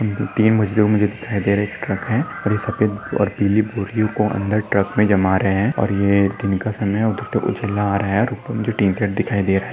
तीन मजदूर मुझे दिखाई दे रहे है एक ट्रक है और ये सफ़ेद पीली बोरियोको अंदर ट्रक मे जमा रहे है और ऐ एक दिनका समय है उछल रहा है रुको मुझे दिखाई दे रहे है।